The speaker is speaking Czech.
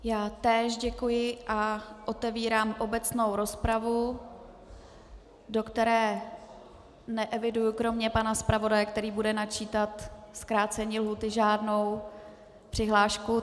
Já též děkuji a otevírám obecnou rozpravu, do které neeviduji kromě pana zpravodaje, který bude načítat zkrácení lhůty, žádnou přihlášku.